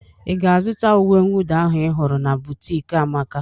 I ga-azụta uwe nwụda ahụ ị hụrụ na bụtiki Amaka?